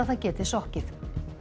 það geti sokkið